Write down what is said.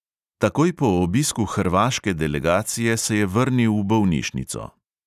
Takoj po obisku hrvaške delegacije se je vrnil v bolnišnico.